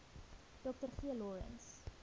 dr g lawrence